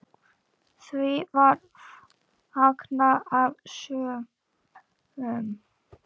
Því var fagnað af sumum.